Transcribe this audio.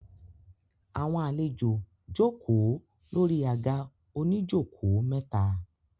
Àwọn àlejò jókòó lórí àga oníjókòó mẹ́ta.